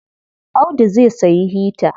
Audu zai sayi hita.